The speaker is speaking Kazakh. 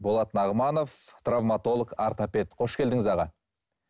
болат нағыманов травматолог ортопед қош келдіңіз аға